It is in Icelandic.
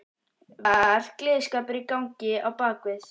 Var gleðskapur í gangi á bak við?